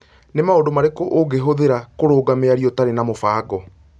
nĩ maũndũ marĩkũ ũngĩhũthĩra kũrũnga mĩario ũtarĩ na mũbango